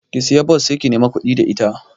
Ki siya bas sai ki nemi kuɗi da ita